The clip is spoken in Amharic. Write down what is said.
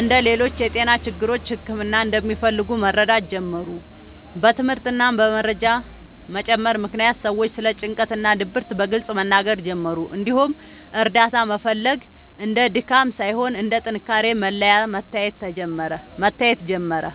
እንደ ሌሎች የጤና ችግሮች ሕክምና እንደሚፈልጉ መረዳት ጀመሩ። በትምህርት እና በመረጃ መጨመር ምክንያት ሰዎች ስለ ጭንቀት እና ድብርት በግልጽ መናገር ጀመሩ፣ እንዲሁም እርዳታ መፈለግ እንደ ድካም ሳይሆን እንደ ጥንካሬ መለያ መታየት ጀመረ።